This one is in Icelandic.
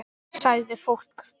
Sagði fólk.